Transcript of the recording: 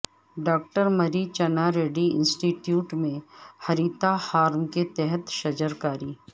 doctor Marri Channa Reddy institute میں ہریتا ہارم کے تحت شجرکاری